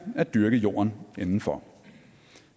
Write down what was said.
at dyrke jorden inden for